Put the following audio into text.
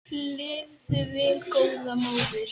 Lifðu vel góða móðir.